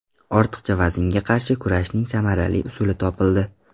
Ortiqcha vaznga qarshi kurashning samarali usuli topildi.